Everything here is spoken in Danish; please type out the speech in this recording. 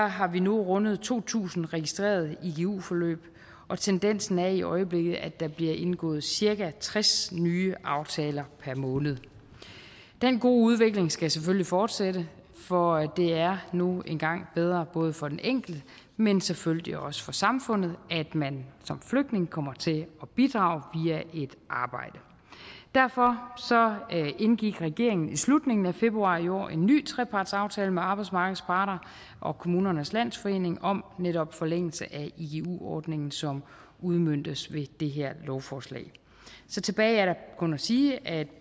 har vi nu rundet to tusind registrerede igu forløb og tendensen er i øjeblikket at der bliver indgået cirka tres nye aftaler per måned den gode udvikling skal selvfølgelig fortsætte for det er nu engang bedre både for den enkelte men selvfølgelig også for samfundet at man som flygtning kommer til at bidrage via et arbejde derfor indgik regeringen i slutningen af februar i år en ny trepartsaftale med arbejdsmarkedets parter og kommunernes landsforening om netop en forlængelse af igu ordningen som udmøntes ved det her lovforslag så tilbage er der kun at sige at jeg